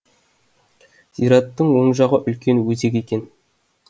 зираттың оң жағы үлкен өзек екен